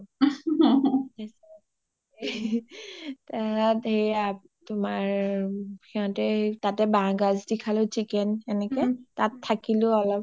তাৰ পিছত সেয়া তোমাৰ সিহতে বাহ গাজ দি খালেও chicken সেনেকে তাত থাকিলো অলপ